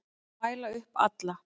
Mæla upp alla